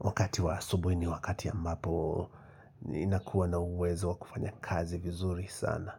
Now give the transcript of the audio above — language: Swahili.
Wakati wa asubuhi ni wakati ambapo ninakuwa na uwezo wa kufanya kazi vizuri sana.